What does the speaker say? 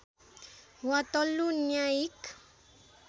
वा तल्लो न्यायिक